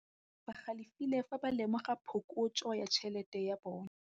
Badiri ba galefile fa ba lemoga phokotsô ya tšhelête ya bone.